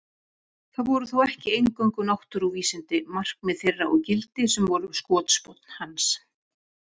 Það voru þó ekki eingöngu náttúruvísindi, markmið þeirra og gildi, sem voru skotspónn hans.